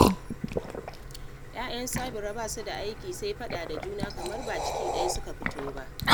Ya'yan Sabira ba su da aiki sai faɗa da juna kamar ba ciki ɗaya suka fito ba